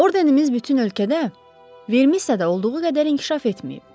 Ordenimiz bütün ölkədə Ver missada olduğu qədər inkişaf etməyib.